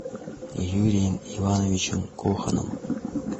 юрием ивановичем коханом